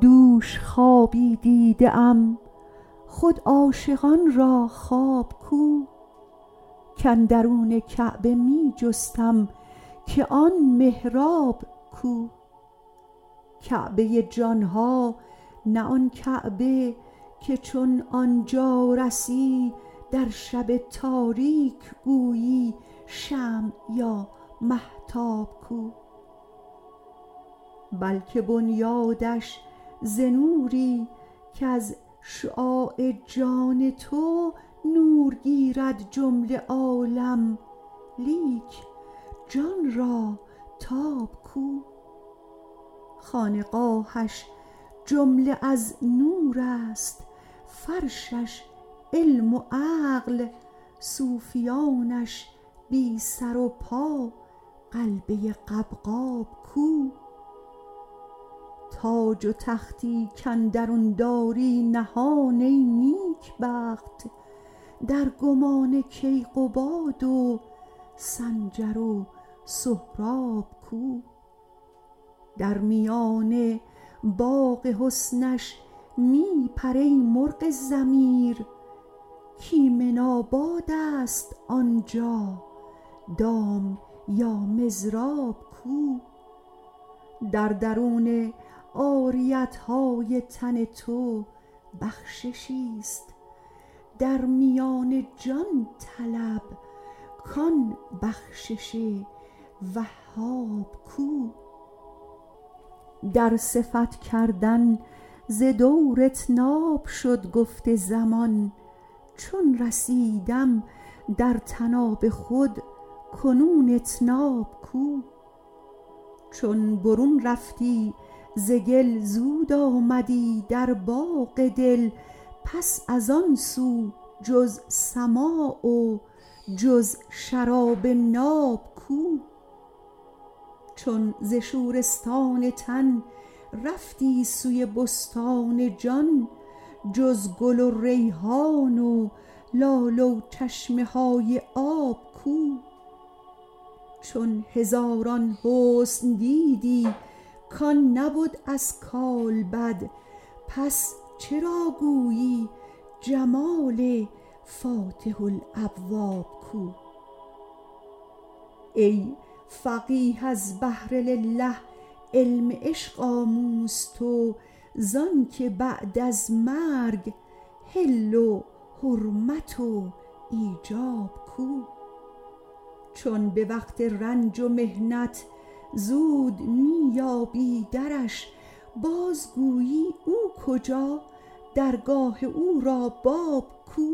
دوش خوابی دیده ام خود عاشقان را خواب کو کاندرون کعبه می جستم که آن محراب کو کعبه جان ها نه آن کعبه که چون آن جا رسی در شب تاریک گویی شمع یا مهتاب کو بلک بنیادش ز نوری کز شعاع جان تو نور گیرد جمله عالم لیک جان را تاب کو خانقاهش جمله از نور است فرشش علم و عقل صوفیانش بی سر و پا غلبه قبقاب کو تاج و تختی کاندرون داری نهان ای نیکبخت در گمان کیقباد و سنجر و سهراب کو در میان باغ حسنش می پر ای مرغ ضمیر کایمن آباد است آن جا دام یا مضراب کو در درون عاریت های تن تو بخششی است در میان جان طلب کان بخشش وهاب کو در صفت کردن ز دور اطناب شد گفت زمان چون رسیدم در طناب خود کنون اطناب کو چون برون رفتی ز گل زود آمدی در باغ دل پس از آن سو جز سماع و جز شراب ناب کو چون ز شورستان تن رفتی سوی بستان جان جز گل و ریحان و لاله و چشمه های آب کو چون هزاران حسن دیدی کان نبد از کالبد پس چرا گویی جمال فاتح الابواب کو ای فقیه از بهر لله علم عشق آموز تو ز آنک بعد از مرگ حل و حرمت و ایجاب کو چون به وقت رنج و محنت زود می یابی درش بازگویی او کجا درگاه او را باب کو